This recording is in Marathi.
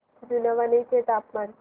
जुनवणे चे तापमान